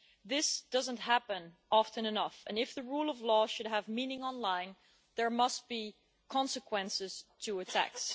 This does not happen often enough, and if the rule of law should have meaning online there must be consequences to attacks.